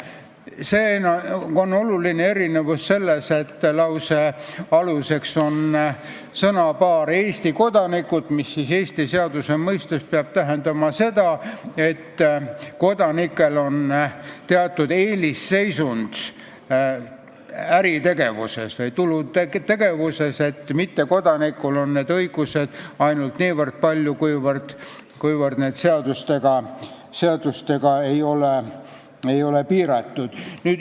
Siin on see oluline erinevus, et lause alguses on sõnapaar "Eesti kodanikud", mis Eesti seaduse mõistes peab tähendama seda, et kodanikel on teatud eelisseisund äritegevuses või tulutegevuses, mittekodanikul on neid õigusi ainult niivõrd, kuivõrd see ei ole seadustega piiratud.